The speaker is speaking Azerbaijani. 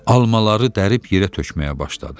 Almaları dərib yerə tökməyə başladı.